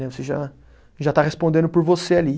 Né, você já, já está respondendo por você ali.